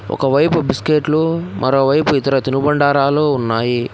ఒక వైపు బిస్కెట్లు మరోవైపు ఇతర తినుబండారాలు ఉన్నాయి.